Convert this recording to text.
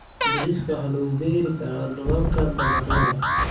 Bariiska waxaa lagu beeri karaa dhulalka dabaqyada.